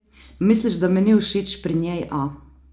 Misliš, da mi ni všeč pri njej, a?